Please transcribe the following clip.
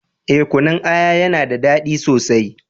Eh, Kunun aya ya na da dadi sosai